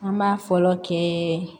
An b'a fɔlɔ kɛ